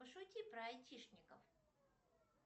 пошути про айтишников